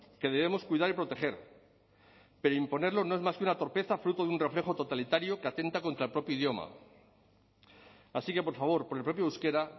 que debemos cuidar y proteger pero imponerlo no es más que una torpeza fruto de un reflejo totalitario que atenta contra el propio idioma así que por favor por el propio euskera